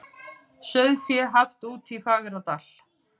Sauðfé haft úti í Fagradal